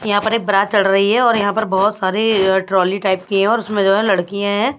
यहाँ पर एक बरात चढ़ रही है और यहाँ पर बहुत सारे अ ट्रॉली टाइप की है और उसमें जो है लड़कियाँ हैं।